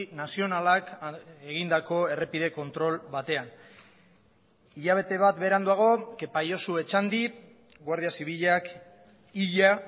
nazionalak egindako errepide kontrol batean hilabete bat beranduago kepa josu etxandi guardia zibilak hila